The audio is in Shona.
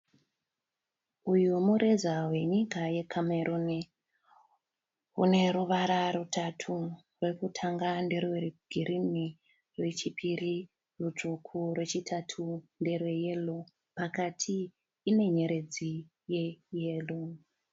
Uyu mureza wenyika yeCameroon, une ruvara rutatu, rwekutanga nderwegirini, rwechipiri rutsvuku, rwechitatu nderweyero, pakati ine nyeredzi yeyero.